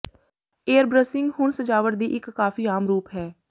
airbrushing ਹੁਣ ਸਜਾਵਟ ਦੀ ਇੱਕ ਕਾਫ਼ੀ ਆਮ ਰੂਪ ਹੈ